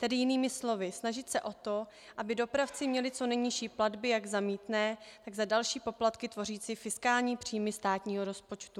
Tedy jinými slovy, snažit se o to, aby dopravci měli co nejnižší platby jak za mýtné, tak za další poplatky tvořící fiskální příjmy státního rozpočtu.